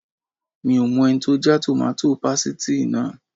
Mi ò mọ ẹni tó já tòmátò pasìtì náà